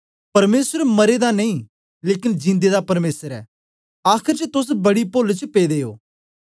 परमेसर मरें दा नेई लेकन जीदें दा परमेसर ऐ आखर च तोस बड़ी पोल च पेदे ओ